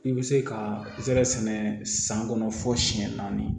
I bɛ se ka zɛrɛ sɛnɛ san kɔnɔ fo siyɛn naani